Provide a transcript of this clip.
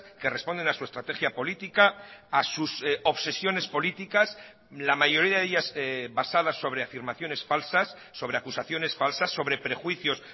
que responden a su estrategia política a sus obsesiones políticas la mayoría de ellas basadas sobre afirmaciones falsas sobre acusaciones falsas sobre prejuicios